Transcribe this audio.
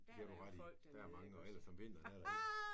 Der har du ret i og ellers om vinteren der